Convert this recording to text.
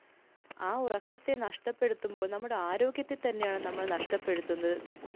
ആ ഉറക്കത്തെ നഷ്ടപ്പെടുത്തുമ്പോള്‍ നമ്മുടെ ആരോഗ്യത്തെ തന്നെയാണ് നമ്മൾ നഷ്ടപ്പെടുത്തുന്നത്.